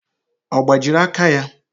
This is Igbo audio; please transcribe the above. Ọ gbajiri aka ya?